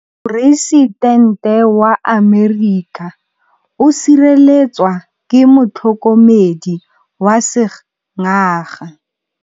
Poresitêntê wa Amerika o sireletswa ke motlhokomedi wa sengaga.